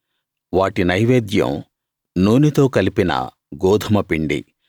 వాటి నైవేద్యం నూనెతో కలిపిన గోదుమపిండి